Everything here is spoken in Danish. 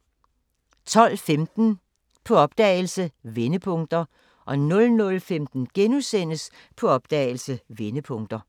12:15: På opdagelse – Vendepunkter 00:15: På opdagelse – Vendepunkter *